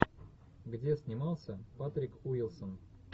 где снимался патрик уилсон